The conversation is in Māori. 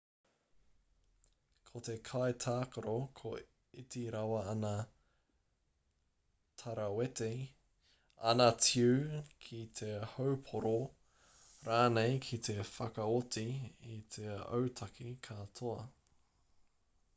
ko te kaitākaro ka iti rawa āna tarawete āna tiu ki te haupōro rānei ki te whakaoti i te autaki ka toa